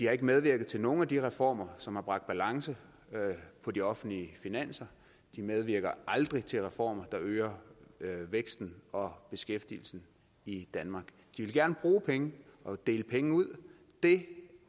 har ikke medvirket til nogen af de reformer som har bragt balance på de offentlige finanser de medvirker aldrig til reformer der øger væksten og beskæftigelsen i danmark de vil gerne bruge penge og dele penge ud det